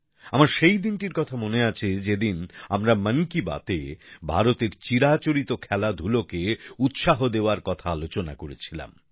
আমার সেই দিনটির কথা মনে আছে যদিন আমরা মন কি বাতে ভারতের চিরাচরিত খেলাধুলোকে উৎসাহ দেওয়ার কথা আলোচনা করেছিলাম